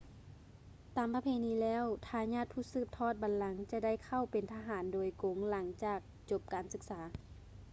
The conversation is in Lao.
ຕາມປະເພນີແລ້ວ ທາຍາດຜູ້ສືບທອດບັນລັງຈະໄດ້ເຂົ້າເປັນທະຫານໂດຍກົງຫຼັງຈາກຈົບການສຶກສາ